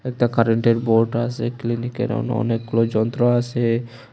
একটা কারেন্টের বোর্ড আছে ক্লিনিকের অন অনেকগুলো যন্ত্র আছে।